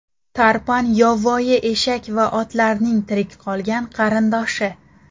Tarpan, yovvoyi eshak va otlarning tirik qolgan qarindoshi.